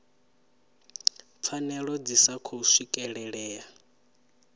pfanelo dzi sa khou swikelelea